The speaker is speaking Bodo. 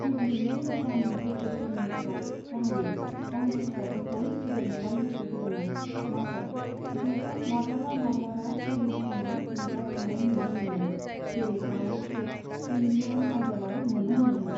गिबि नै रोजानि बोसोरफोरनिफ्राय गाहायै गावनि फिसाजोखौ फेदेरनायाव गोसो होदोंमोन, नाथाय बिथांखौ माब्लाबा माब्लाबा टेलिभिजनाव नुजाथिनाय नुनो मोनो, जेरै बावयैसो इन्डियान आइडलाव नुनो मोनदोंमोन।